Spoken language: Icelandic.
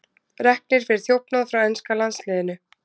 Reknir fyrir þjófnað frá enska landsliðinu